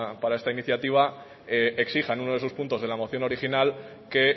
para esta iniciativa exija en uno de sus puntos en la moción original que